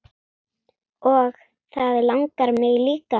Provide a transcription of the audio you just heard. Og það langar mig líka.